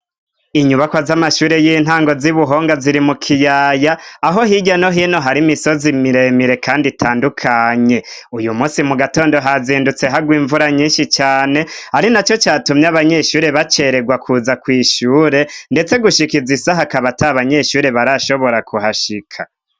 Inyubako z'amashure y'intango z'i Buhonga ziri mu kiyaya aho hirya no hino hari imisozi miremire kandi itandukanye. Uyu munsi mu gatondo hazindutse hagwa imvura nyinshi cane, ari na co catumye abanyeshure bacererwa kuza kw'ishure, ndetse gushika izi saha akaba ata abanyeshure arashobora kuhashika.